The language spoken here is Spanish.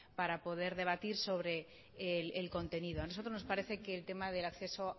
para poder debatir sobre el contenido a nosotros nos parece que el tema del acceso